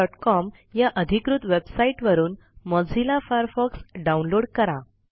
mozilla.com या अधिकृत वेबसाईटवरून मोझिल्ला फायरफॉक्स डाऊनलोड करा